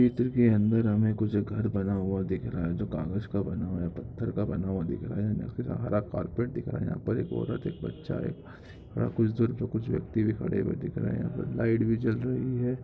चित्र के अंदर हमें कुछ घर बना हुआ दिख रहा है जो कागज का बना हुआ है पत्थर का बना हुआ दिख रहा है आखिर हरा कारपेट दिख रहा है। यहाँ पर एक औरत एक बच्चा है उधर पे कुछ व्यक्ति भी खड़े हुए दिख रहे हैं। लाईट भी जल रही है।